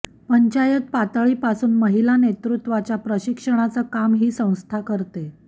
पंचायत पातळीपासून महिला नेतृत्वाच्या प्रशिक्षणाचं काम ही संस्था करते